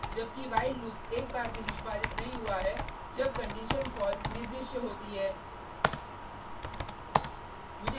जबकि while loop एक बार भी निष्पादित नहीं हुआ है जब कंडिशन false निर्दिष्ट होती है